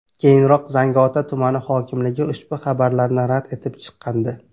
Keyinroq Zangiota tumani hokimligi ushbu xabarlarni rad etib chiqqandi .